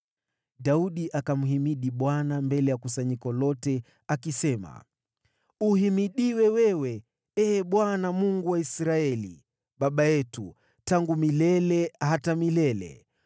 Daudi akamhimidi Bwana mbele ya kusanyiko lote, akisema: “Uhimidiwe wewe, Ee Bwana , Mungu wa Israeli baba yetu, tangu milele hata milele.